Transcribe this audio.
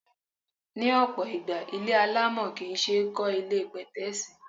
Ní ọ̀pọ̀ ìgbà, ilé alámọ̀ kì ń ṣe é kó ilé pẹ̀tẹ́ẹ̀sì.